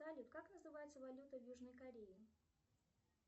салют как называется валюта в южной корее